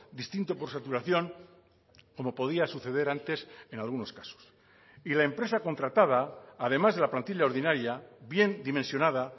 distinto por saturación como podía suceder antes en algunos casos y la empresa contratada además de la plantilla ordinaria bien dimensionada